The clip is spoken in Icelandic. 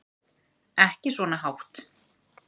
Ekki svona hátt.